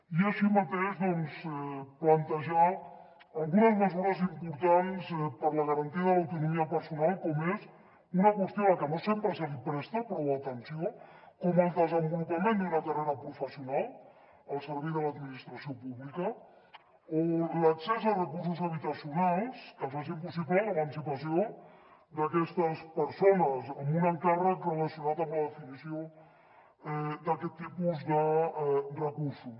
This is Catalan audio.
i així mateix doncs plantejar algunes mesures importants per a la garantia de l’autonomia personal com és una qüestió a la que no sempre se li presta prou atenció com el desenvolupament d’una carrera professional al servei de l’administració pública o l’accés a recursos habitacionals que facin possible l’emancipació d’aquestes persones amb un encàrrec relacionat amb la definició d’aquest tipus de recursos